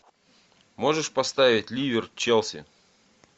можешь поставить ливер челси